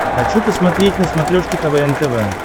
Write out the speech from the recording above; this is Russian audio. хочу посмотреть на смотрешке квн тв